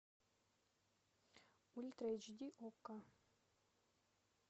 ультра эйч ди окко